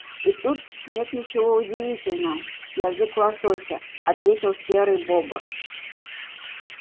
и тут нет ничего удивительного язык лосося ответил серый бобр